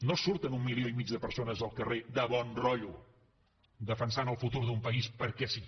no surten un milió i mig de persones al carrer de bon rotllo defensant el futur d’un país perquè sí